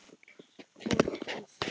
Og hvað.